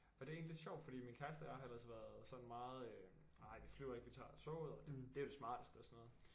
Og det egentlig lidt sjovt fordi min kæreste og jeg har ellers været sådan meget øh nej vi flyver ikke vi tager toget og det er jo det smarteste og sådan noget